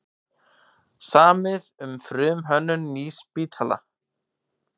Samið um frumhönnun nýs spítala